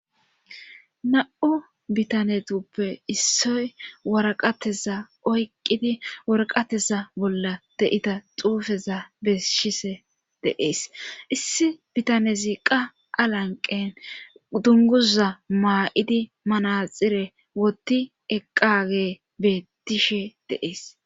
na'u bitanetuppe issoy waraqateza oyqqidi warqateza bolla de'iza xuufeza besshise deees issi bitanezi qa alanqen dunguza maa'idi manaxire wotti eqqage beettishe de'ees